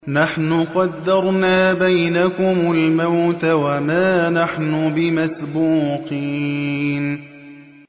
نَحْنُ قَدَّرْنَا بَيْنَكُمُ الْمَوْتَ وَمَا نَحْنُ بِمَسْبُوقِينَ